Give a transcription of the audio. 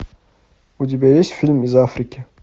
у тебя есть фильм из африки